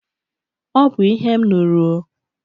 Ọ bụ ihe m nụrụ o.